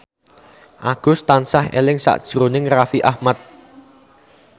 Agus tansah eling sakjroning Raffi Ahmad